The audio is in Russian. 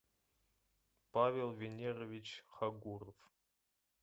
павел венерович хагуров